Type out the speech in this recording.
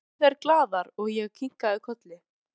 spurðu þær glaðar og ég kinkaði kolli.